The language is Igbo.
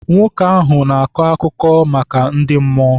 Nwoke ahụ na-akọ akụkọ maka ndị mmụọ.